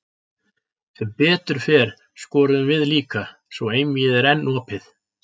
Sem betur fer skoruðum við líka, svo einvígið er enn opið.